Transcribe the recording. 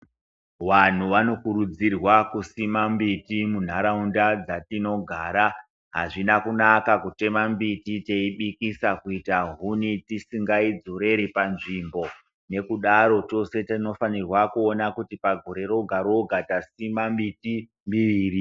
Wanhu wanokurudzirwa kusima mbiti munharaunda dzatinogara. Hazvina kunaka kutema mimbiti teibikisa kuita huni tisingaidzoreri panzvimbo. Nekudaro tose tinofanirwa kuona kuti pagore roga-roga tasima miti miviri.